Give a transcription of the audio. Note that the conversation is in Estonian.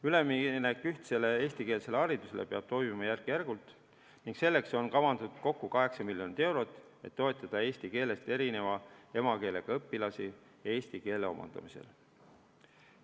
Üleminek ühtsele eestikeelsele haridusele peab toimuma järk-järgult ning selleks on kavandatud kokku 8 miljonit eurot, et toetada eesti keelest erineva emakeelega õpilasi eesti keele omandamisel.